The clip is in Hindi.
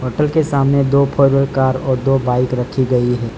होटल के सामने दो फोर व्हीलर कार और दो बाइक रखी गई है।